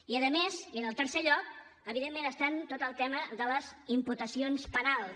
i a més i en tercer lloc evidentment està tot el tema de les imputacions penals